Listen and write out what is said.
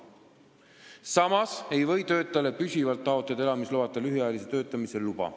Samas ei või töötajale püsivalt taotleda elamisloata lühiajalise töötamise luba.